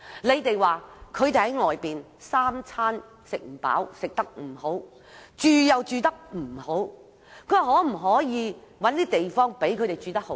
你們說他們三餐不飽、吃得不好，住又住得不好，說可否找地方讓他們住得好一點。